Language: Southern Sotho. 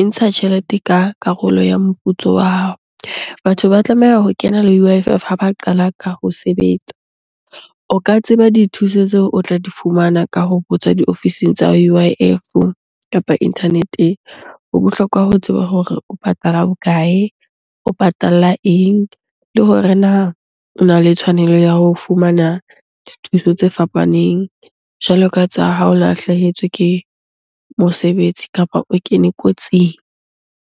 E ntsha tjhelete ka karolo ya moputso wa hao. Batho ba tlameha ho kenela U_I_F ha ba qala ka ho sebetsa. O ka tseba dithuso tseo o tla di fumana ka ho botsa diofising tsa U_I_F-o kapa internet-eng. Ho bohlokwa ho tseba hore o patala bokae? O patalla eng? Le hore na ona le tshwanelo ya ho fumana dithuso tse fapaneng jwalo ka tsa ha o lahlehetswe ke mosebetsi kapa o kene kotsing.